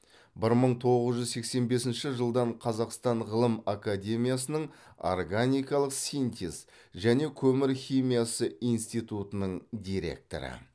бір мың тоғыз жүз сексен бесінші жылдан қазақстан ғылым академиясының органикалық синтез және көмір химиясы институтының директоры